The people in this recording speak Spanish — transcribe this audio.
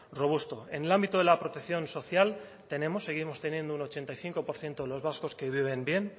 robusto en el ámbito de la protección social tenemos seguimos teniendo un ochenta y cinco por ciento de los vascos que viven bien